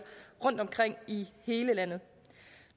rundtomkring i hele landet